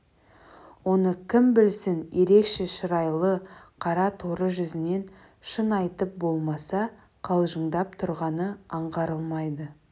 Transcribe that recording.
оны кім білсін ерекше шырайлы қара торы жүзінен шын айтып болмаса қалжыңдап тұрғаны аңғарылмайды